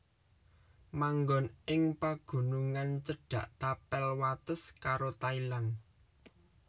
Manggon ing pagunungan cedhak tapel wates karo Thailand